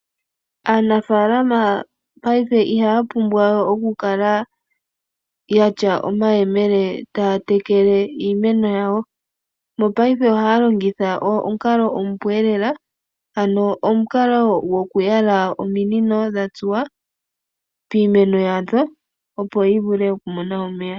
Aanafalama payife ihaya pumbwa okukala yatya omayemele taya tekele iimeno yawo mopayofe ohaya longitha omukalo omupu. Omukalo gwoku yala ominino dhatsuwa piimeno yawo opo yi vule oku mona omeya.